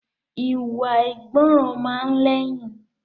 Ìwà àìgbọràn máa lẹ́yìn